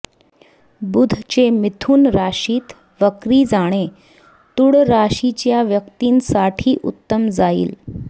बुधचे मिथुन राशीत वक्री जाणे तुळ राशीच्या व्यक्तींसाठी उत्तम जाईल